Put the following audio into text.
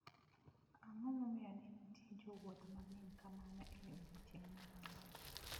Ang’o momiyo ne nitie jowuoth mang’eny kamano e odiechieng’ mar ang’wen?